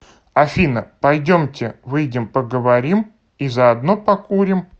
афина пойдемте выйдем поговорим и заодно покурим